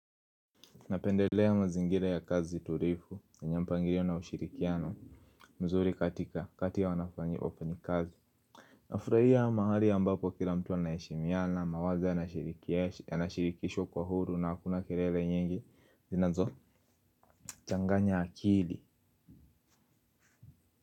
Napendelea mazingira ya kazi tulivu na yenye mpangilio na ushirikiano mzuri katika kati ya wafanyikazi nafurahia mahali ambapo kila mtu anaheshimiana mawazo yanashirikishwa kwa huru na hakuna kilele nyingi zinazochanganya akili.